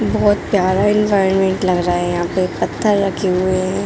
बहुत प्यारा एनवायरोनमेंट लग रहा है यहाँ पे पत्थर रखी हुई है।